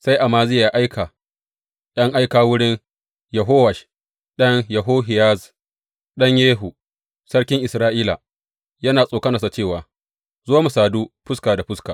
Sai Amaziya ya aika ’yan aika wurin Yehowash ɗan Yehoyahaz, ɗan Yehu, sarkin Isra’ila, yana tsokanarsa cewa, Zo, mu sadu fuska da fuska.